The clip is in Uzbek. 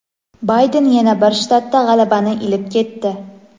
Bayden yana bir shtatda g‘alabani ilib ketdi.